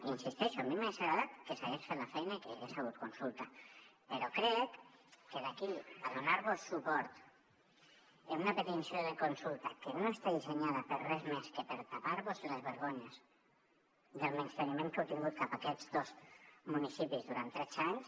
hi insisteixo a mi m’hagués agradat que s’hagués fet la feina i que hi hagués hagut consulta però crec que d’aquí a donar vos suport en una petició de consulta que no està dissenyada per res més que per tapar vos les vergonyes del menysteniment que heu tingut cap a aquests dos municipis durant tretze anys